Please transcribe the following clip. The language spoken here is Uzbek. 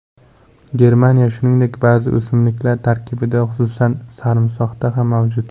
Germaniy, shuningdek, ba’zi o‘simliklar tarkibida, xususan, sarimsoqda ham mavjud.